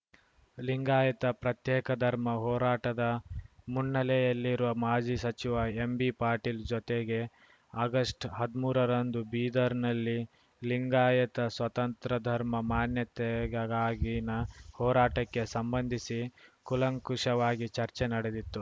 ಲಿಂಗಾಯತ ಪ್ರತ್ಯೇಕ ಧರ್ಮ ಹೋರಾಟದ ಮುನ್ನೆಲೆಯಲ್ಲಿರುವ ಮಾಜಿ ಸಚಿವ ಎಂಬಿ ಪಾಟೀಲ್‌ ಜೊತೆಗೆ ಆಗಷ್ಟ್ ಹದ್ಮೂರ ರಂದು ಬೀದರ್‌ನಲ್ಲಿ ಲಿಂಗಾಯತ ಸ್ವತಂತ್ರ ಧರ್ಮ ಮಾನ್ಯತೆಗಾಗಿನ ಹೋರಾಟಕ್ಕೆ ಸಂಬಂಧಿಸಿ ಕೂಲಂಕುಷವಾಗಿ ಚರ್ಚೆ ನಡೆದಿತ್ತು